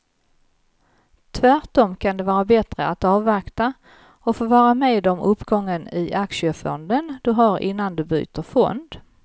Tvärtom kan det vara bättre att avvakta och få vara med om uppgången i aktiefonden du har innan du byter fond.